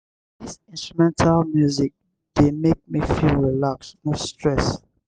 dis instrumental music dey make me feel relaxed no stress.